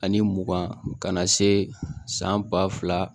Ani mugan ka na se san ba fila